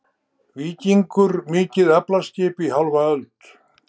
Víkingur mikið aflaskip í hálfa öld